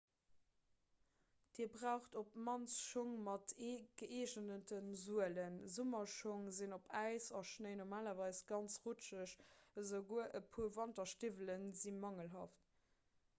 dir braucht op d'mannst schong mat gëeegente suelen summerschong sinn op äis a schnéi normalerweis ganz rutscheg esouguer e puer wanterstiwwelen si mangelhaft